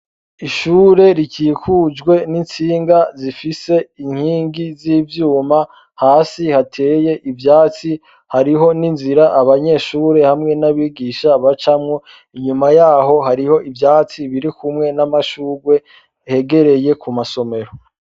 Ishure rikikukujwe n'intsinga zifise inkingi z'ivyuma hasi hateye ivyatsi, hariho n'inzira abanyeshure hamwe n'abigisha bacamwo. Inyuma hariho ivyatsi biri kumwe n'amashugwe hegereye ku masomero.